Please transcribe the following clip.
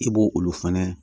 I b'o olu fɛnɛ